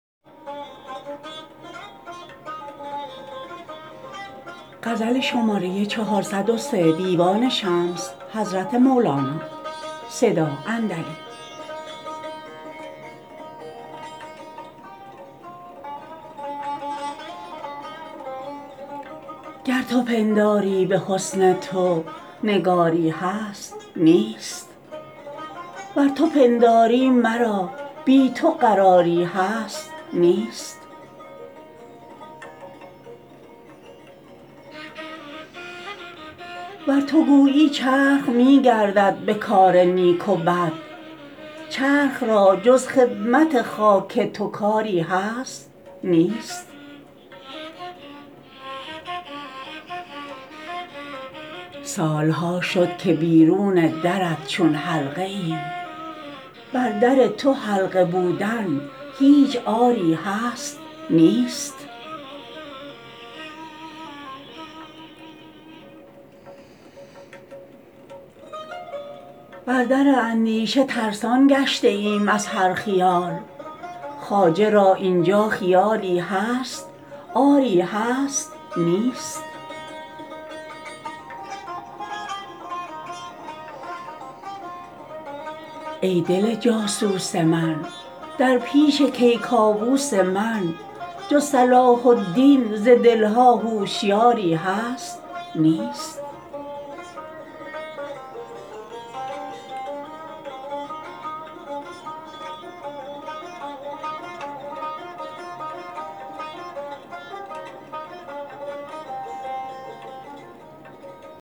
گر تو پنداری به حسن تو نگاری هست نیست ور تو پنداری مرا بی تو قراری هست نیست ور تو گویی چرخ می گردد به کار نیک و بد چرخ را جز خدمت خاک تو کاری هست نیست سال ها شد تا که بیرون درت چون حلقه ایم بر در تو حلقه بودن هیچ عاری هست نیست بر در اندیشه ترسان گشته ایم از هر خیال خواجه را این جا خیالی هست آری هست نیست ای دل جاسوس من در پیش کیکاووس من جز صلاح الدین ز دل ها هوشیاری هست نیست